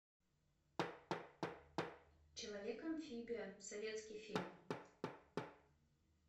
человек амфибия советский фильм